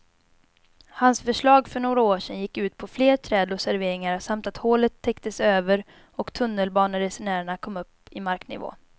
Hans förslag för några år sedan gick ut på fler träd och serveringar samt att hålet täcktes över och tunnelbaneresenärerna kom upp i marknivå.